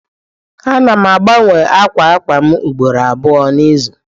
Ana m agbanwe akwa akwa m ugboro abụọ n'izu.